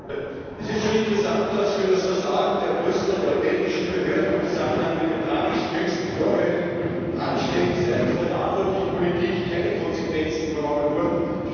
Frau Präsidentin! Es ist schon interessant, dass für das Versagen der Brüsseler oder der belgischen Behörden im Zusammenhang mit den tragischen jüngsten Vorfällen und Anschlägen seitens der verantwortlichen Politik keine Konsequenzen übernommen wurden.